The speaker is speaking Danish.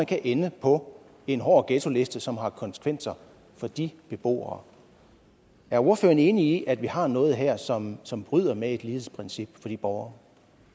kan ende på en hård ghettoliste som har konsekvenser for de beboere er ordføreren enig i at vi har noget her som som bryder med et lighedsprincip for de borgere